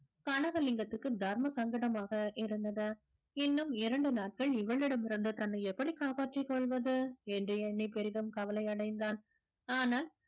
கனகலிங்கத்துக்கு தர்ம சங்கடமாக இருந்தது இன்னும் இரண்டு நாட்கள் இவளிடம் இருந்து தன்னை எப்படி காப்பாற்றிக் கொள்வது என்று எண்ணி பெரிதும் கவலை அடைந்தான் ஆனால்